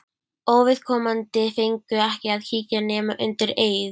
Óviðkomandi fengu ekki að kíkja nema undir eið.